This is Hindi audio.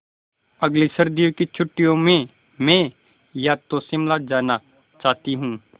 अगली सर्दी की छुट्टियों में मैं या तो शिमला जाना चाहती हूँ